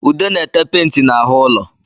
Ude na-ete penti n'ahụ ụlo